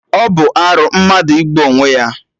Ọ bụ arụ mmadụ igbu onwe ya?